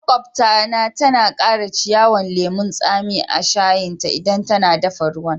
Maƙwabta na tana Kara ciyawan lemun tsami a'shayin ta idan tana daffa ruwan.